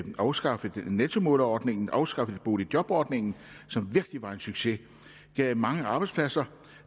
afskaffet nettomålerordningen afskaffet boligjobordningen som virkelig var en succes og gav mange arbejdspladser